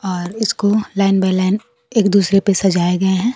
और इसको line by line एक दूसरे पे सजाए गए है।